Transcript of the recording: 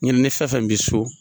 Ɲinɛ nin fɛn fɛn bɛ so.